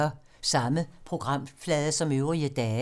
Samme programflade som øvrige dage